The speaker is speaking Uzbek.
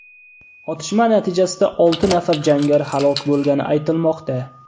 Otishma natijasida olti nafar jangari halok bo‘lgani aytilmoqda.